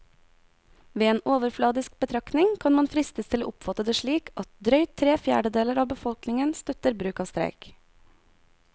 Ved en overfladisk betraktning kan man fristes til å oppfatte det slik at drøyt tre fjerdedeler av befolkningen støtter bruk av streik.